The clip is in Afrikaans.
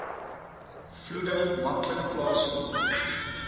vloede maklik plaasvind